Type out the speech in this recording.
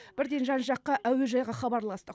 бірден жан жаққа әуежайға хабарластық